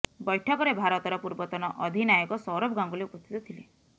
ବୈଠକରେ ଭାରତର ପୂର୍ବତନ ଅଧିନାୟକ ସୌରଭ ଗାଙ୍ଗୁଲି ଉପସ୍ଥିତ ଥିଲେ